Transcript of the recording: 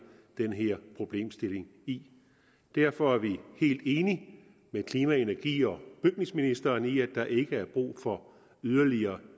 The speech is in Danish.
den her problemstilling i derfor er vi helt enige med klima energi og bygningsministeren i at der ikke er brug for yderligere